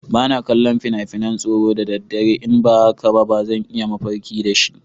Ba na kallon fina-finan tsoro da daddare, in ba haka ba zan yi mafarki da shi.